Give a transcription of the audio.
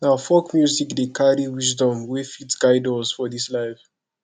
na folk music dey carry wisdom wey fit guide us for this life